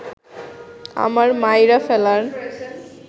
আমার মাইরা ফেলার